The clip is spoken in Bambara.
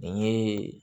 N ye